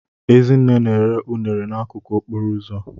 Ezinne na-ere unere n'akụkụ okporo ụzọ.